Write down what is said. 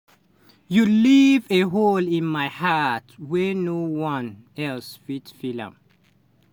"you leave a hole in my heart wey no one else fit fill.